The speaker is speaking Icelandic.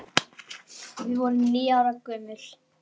Við vorum níu ára gömul.